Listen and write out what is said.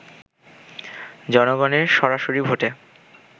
জনগণের সরাসরি ভোটে